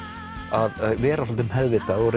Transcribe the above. að vera svolítið meðvitað og